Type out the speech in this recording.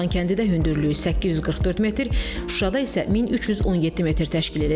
Kanat yolunun Xankəndidə hündürlüyü 844 metr, Şuşada isə 1317 metr təşkil edəcək.